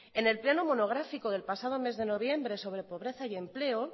en el pleno monográfico del pasado mes de noviembre sobre pobreza y empleo